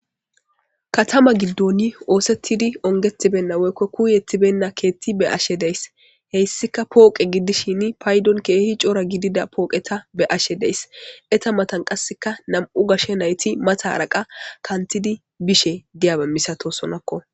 katama giddoni oosettidi ongetibenna woykko kuuyettibenna keetti be7ashe days heyssika pooqe giddishini paydon keehi coora gidida pooqeta be7ashe days eta matan qassika nam7u gashshe nayti matara qa kantidi bishe diyabe misatosonakko